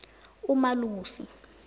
umalusi